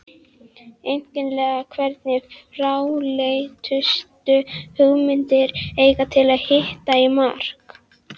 Einkennilegt hvernig fráleitustu hugmyndir eiga til að hitta í mark.